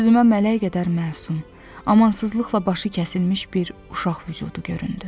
Gözümə mələk qədər məsum, amansızlıqla başı kəsilmiş bir uşaq vücudu göründü.